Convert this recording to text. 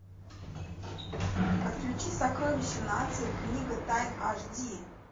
подключи сокровища нации книга тайн аш ди